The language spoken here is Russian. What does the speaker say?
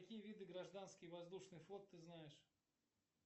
какие виды гражданский воздушный флот ты знаешь